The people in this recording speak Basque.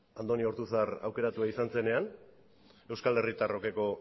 andoni ortuzar aukeratua izan zenean euskal herritarrokeko